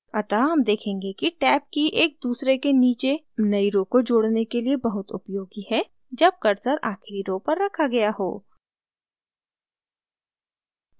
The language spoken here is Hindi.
अतः हम देखेंगे कि tab की एक दूसरे के नीचे नई rows को जोड़ने के लिए बहुत उपयोगी है जब cursor आखिरी rows पर रखा गया हो